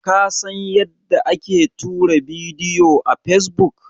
Ka san yadda ake tura bidiyo a fesbuk?